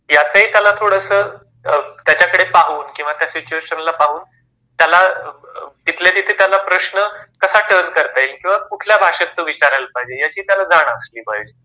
याचाही त्याला थोडास त्याच्याकडे पाहून किंवा त्या सिच्युएशन पाहून त्याला तिथल्या तिथे त्याला प्रश्न कसा टर्न करता येईल किंवा कुठल्या भाषेत तो विचारायला पाहिजे याची त्याला जाण असली पाहिजे.